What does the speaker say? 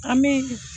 An bɛ